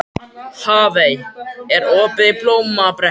Hafey, er opið í Blómabrekku?